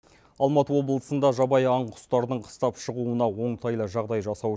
алматы облысында жабайы аң құстардың қыстап шығуына оңтайлы жағдай жасау